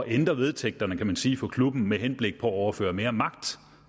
ændre vedtægterne kan man sige for klubben med henblik på at overføre mere magt